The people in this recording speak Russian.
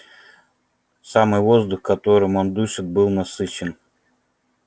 самый воздух которым он дышал был насыщен